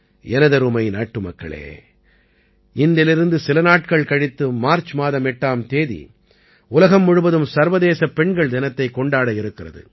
எனதருமை நாட்டுமக்களே இன்றிலிருந்து சில நாட்கள் கழித்து மார்ச் மாதம் 8ஆம் தேதி உலகம் முழுவதும் சர்வதேசப் பெண்கள் தினத்தைக் கொண்டாடவிருக்கிறது